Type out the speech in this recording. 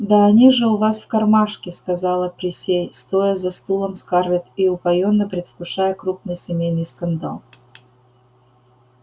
да они же у вас в кармашке сказала присей стоя за стулом скарлетт и упоённо предвкушая крупный семейный скандал